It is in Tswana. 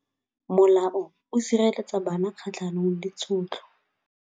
Molao o sireletsa bana kgatlhanong le tshotlo.